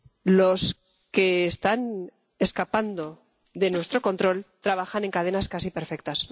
Los que están escapando de nuestro control trabajan en cadenas casi perfectas